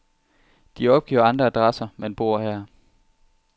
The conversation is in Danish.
De opgiver andre adresser, men bor her.